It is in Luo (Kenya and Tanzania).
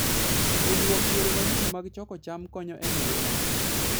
Puonjruok yore manyien mag choko cham konyo e medo nyak.